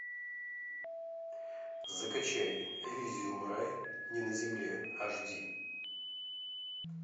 закачай элизиум рай не на земле аш ди